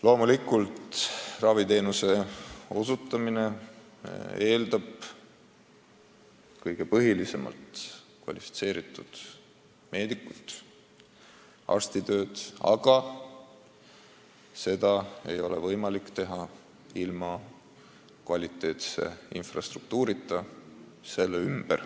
Loomulikult eeldab raviteenuse osutamine eelkõige kvalifitseeritud meedikut, arstitööd, aga seda ei ole võimalik teha ilma kvaliteetse infrastruktuurita.